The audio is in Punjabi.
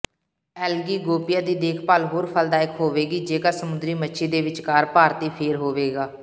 ਐਲਗੀ ਗੋਪੀਆ ਦੀ ਦੇਖਭਾਲ ਹੋਰ ਫਲਦਾਇਕ ਹੋਵੇਗੀ ਜੇਕਰ ਸਮੁੰਦਰੀ ਮੱਛੀ ਦੇ ਵਿਚਕਾਰ ਭਾਰਤੀ ਫੇਰ ਹੋਵੇਗਾ